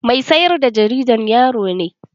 Mai sayar da jaridan yaro ne.